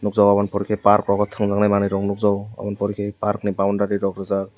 Jo aboni pore ke park abo tongjak nai manoi rok nog jago aboni pore ke park ni boundary rok rijak.